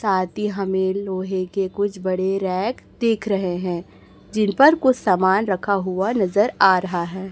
साथी हमें लोहे के कुछ बड़े रैक देख रहे हैं जिन पर कुछ सामान रखा हुआ नजर आ रहा है।